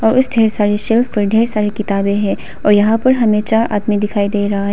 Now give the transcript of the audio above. और उस ढेर सारी शेल्फ पर ढेर सारी किताबें हैं और यहां पर हमें चार आदमी दिखाई दे रहा--